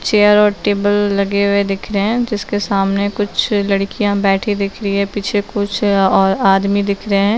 Chair और table लगे हुए दिख रहे है जिसके सामने मै कुछ लडकिया बैठी दिख रही है पीछे कुछ और आदमी दिख रहे है।